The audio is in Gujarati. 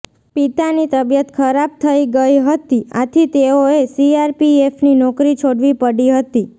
પિતાની તબિયત ખરાબ થઈ ગયી હતી આથી તેઓએ સીઆરપીએફની નોકરી છોડવી પડી હતી